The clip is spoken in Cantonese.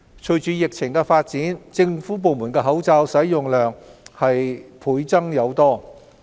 隨着疫情發展，政府部門的口罩使用量倍增。